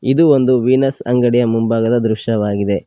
ಇದು ಒಂದು ವೀನಸ್ ಅಂಗಡಿಯ ಮುಂಭಾಗದ ದೃಶ್ಯವಾಗಿದೆ.